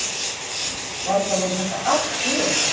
Varla voru þetta allt trúartákn?